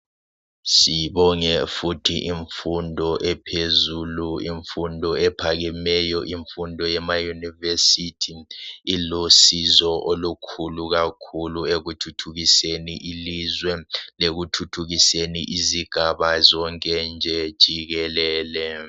Sibonge futhi imfundo ephezulu imfundo ephakemeyo imfundo yema university ilusizo olukhulu kakhulu ekuthuthukiseni ilizwe lekuthuthukiseni izigaba zonke jikelele